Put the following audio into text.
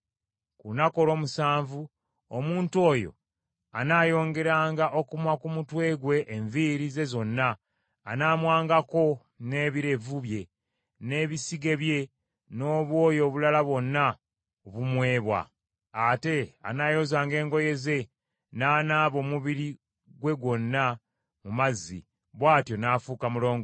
Ku lunaku olw’omusanvu omuntu oyo anaayongeranga okumwa ku mutwe gwe enviiri ze zonna, anaamwangako n’ebirevu bye, n’ebisige bye, n’obwoya obulala bwonna obumwebwa. Ate anaayozanga engoye ze, n’anaaba omubiri gwe gwonna mu mazzi, bw’atyo n’afuuka mulongoofu.